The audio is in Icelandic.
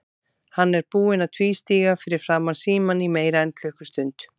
Hann er búinn að tvístíga fyrir framan símann í meira en klukkustund.